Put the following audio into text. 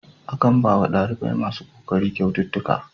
Akan bawa ɗalibai masu kokari kyaututtuka.